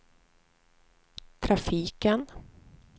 trafiken